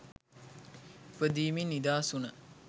ඉපදීමෙන් නිදහස් වුණ